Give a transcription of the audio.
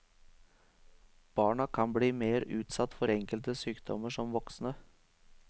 Barna kan bli mer utsatt for enkelte sykdommer som voksne.